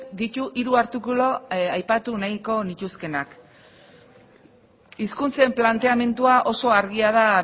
ditu hiru artikulu aipatu nahiko nituzkeenak hizkuntzen planteamendua oso argia da